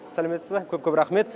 сәлеметсіз ба көп көп рахмет